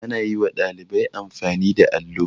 Ana yi wa ɗalibai amfani da allo.